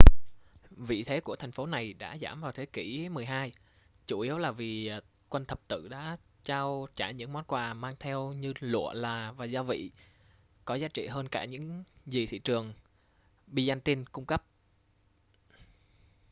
vị thế của thành phố này đã giảm vào thế kỷ xii chủ yếu là vì quân thập tự đã trao trả những món quà mang theo như lụa là và gia vị có giá trị hơn cả những gì thị trường byzantine cung cấp